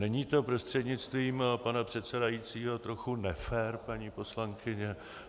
Není to, prostřednictvím pana předsedajícího, trochu nefér, paní poslankyně?